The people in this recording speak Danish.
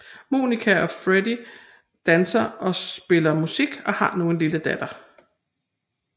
Monika og Freddy danser og spiller musik og har nu en lille datter